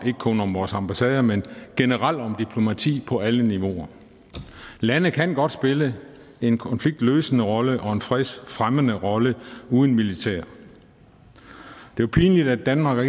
om vores ambassader men generelt om diplomati på alle niveauer lande kan godt spille en konfliktløsende rolle og en fredsfremmende rolle uden militær det er pinligt at danmark er